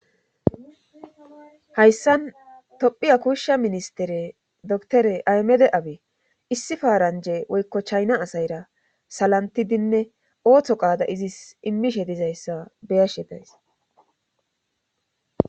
hayssan tophiya kuushsha ministere doktore aymede abe issi faaranje woykko chayna asayra salantidinne ooththo qaada izis immishe dizayssa beyashe days